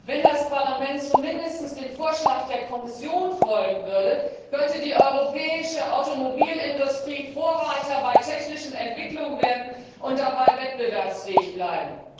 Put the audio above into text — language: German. Wenn das Parlament zumindest dem Vorschlag der Kommission folgen würde, könnte die europäische Automobilindustrie Vorreiter bei technischen Entwicklungen werden und dabei wettbewerbsfähig bleiben.